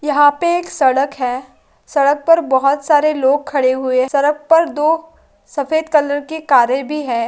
यहाँ पर एक सड़क है। सड़क पर बहुत सारे लोग खड़े हुए। सड़क पर दो सफ़ेद कलर की कारे भी है।